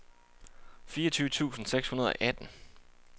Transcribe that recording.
fireogtyve tusind seks hundrede og atten